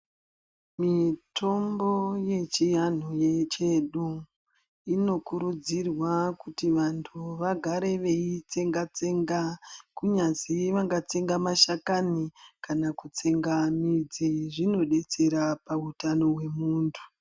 Mitombo yechiantu yedu inokurudzirwa vantu vagare vechiitsenga tsenga kunyazi vangatsenga mashakani kana kutenga midzi zvinobetsera pahutano hwemuntu.